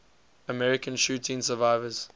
american shooting survivors